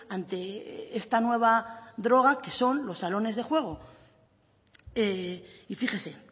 ante esta nueva droga que son los salones de juego y fíjese